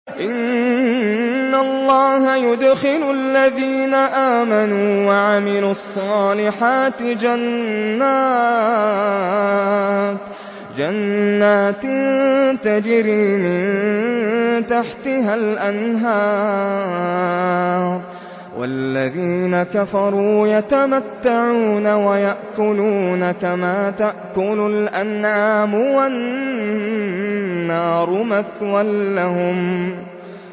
إِنَّ اللَّهَ يُدْخِلُ الَّذِينَ آمَنُوا وَعَمِلُوا الصَّالِحَاتِ جَنَّاتٍ تَجْرِي مِن تَحْتِهَا الْأَنْهَارُ ۖ وَالَّذِينَ كَفَرُوا يَتَمَتَّعُونَ وَيَأْكُلُونَ كَمَا تَأْكُلُ الْأَنْعَامُ وَالنَّارُ مَثْوًى لَّهُمْ